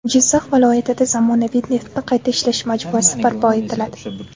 Jizzax viloyatida zamonaviy neftni qayta ishlash majmuasi barpo etiladi.